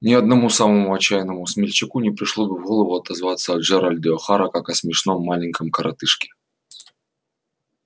ни одному самому отчаянному смельчаку не пришло бы в голову отозваться о джералде охара как о смешном маленьком коротышке